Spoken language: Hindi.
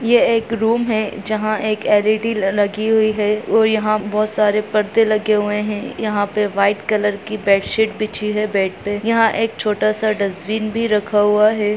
ये एक रूम है जहां पर एक एल.इ.डी. लगी हुई है और बहुत सारे परदे लगे हुए हैं यहां पर वाइट कर की बेडशीट बिछी है बेड पर यहां एक छोटा-सा डस्टबिन भी रखा हुआ है।